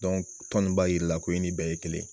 Dɔnko tɔn in b'a jira i la ko i ni bɛɛ ye kelen.